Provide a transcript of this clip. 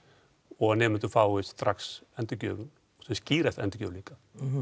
og nemendur fái strax endurgjöf sem skýrasta endurgjöf líka